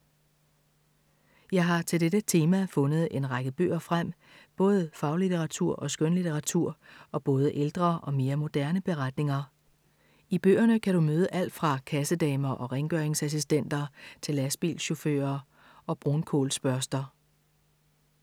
Jeg har til dette tema fundet en række bøger frem, både faglitteratur og skønlitteratur og både ældre og mere moderne beretninger. I bøgerne kan du møde alt fra kassedamer og rengøringsassistenter til lastbilchauffører og brunkulsbørster.